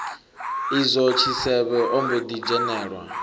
izwo tshisevhe ombo ḓi dzhenelwa